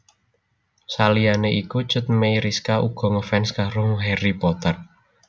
Saliyané iku Cut Meyriska uga ngefans karo Harry Potter